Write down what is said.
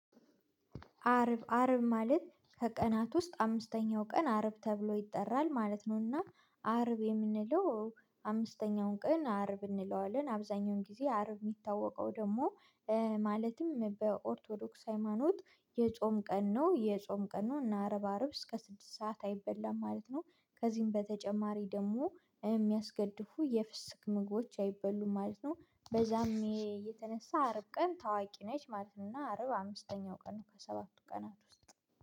አርብ አርብ ማለት ከቀናት ውስጥ አምስተኛው ቀን አርብ ተብሎ ይጠራል ማለት ነውና አርብ የምንለው አምስተኛውን ቀን አርብ እንለዋለን አብዛኛውን ጊዜ አርብ የሚታወቀው ደግሞ ማለትም በኦርቶዶክስ ሃይማኖት የጾም ቀን ነው የጾም ቀን ነው እና አርባ አርብ እስከ ስድስት ሰዓት አይበላም ማለት ነው። ከዚህም በተጨማሪ ደግሞ የሚያስገድፉ የፍስክ ምግቦች አይበሉም ማለት ነው። በዛም የተነሳ አርብ ቀን ታዋቂ ነች ማለት ነው። እና አርብ አምስተኛው ቀን ነው ከሰባቱ ቀናት ውስጥ